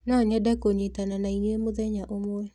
No nyende kũnyitana na inyuĩ mũtenya ũmwe.